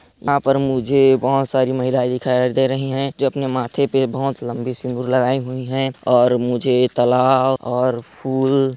यहाँ पर मुझे बोहत सारी महिलाएं दिखाई दे रही हैं जोकि माथे पे बोहत लम्बी सिंदूर लगाई हुई है और मुझे तालाव और फूल--